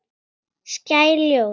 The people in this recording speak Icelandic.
Skær ljós.